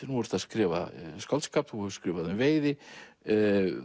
nú ertu að skrifa skáldskap hefur skrifað um veiði